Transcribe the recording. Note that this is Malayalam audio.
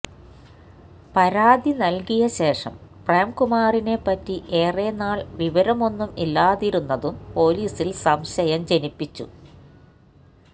പരാതി നൽകിയ ശേഷം പ്രേം കുമാറിനെ പറ്റി ഏറെ നാൾ വിവരമൊന്നും ഇല്ലാതിരുന്നതും പൊലീസിൽ സംശയം ജനിപ്പിച്ചു